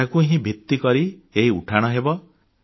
ଏହାକୁ ହିଁ ଭିତ୍ତିକରି ଏହି ଉଠାଣ ହେବ